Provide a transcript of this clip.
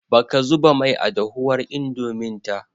Baka zuba mai a dahuwar Indomin ta